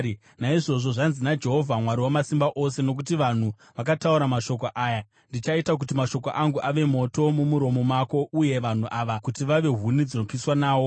Naizvozvo zvanzi naJehovha Mwari Wamasimba Ose: “Nokuti vanhu vakataura mashoko aya, ndichaita kuti mashoko angu ave moto mumuromo mako, uye vanhu ava kuti vave huni dzinopiswa nawo.